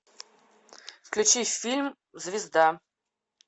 включи фильм звезда